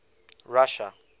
russia